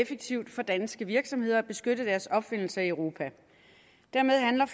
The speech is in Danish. effektivt for danske virksomheder at beskytte deres opfindelser i europa dermed handler